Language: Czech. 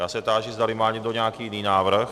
Já se táži, zdali má někdo nějaký jiný návrh.